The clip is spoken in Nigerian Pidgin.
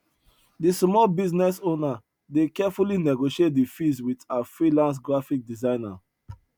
de small business owner dey carefully negotiate di fees wit her freelance graphic designer